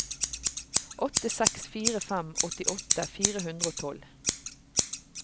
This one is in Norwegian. åtte seks fire fem åttiåtte fire hundre og tolv